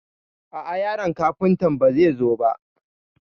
A'a yaron Kafuntan ba zai zo ba.